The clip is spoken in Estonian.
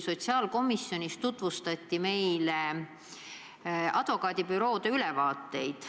Sotsiaalkomisjonile nimelt tutvustati advokaadibüroode ülevaateid.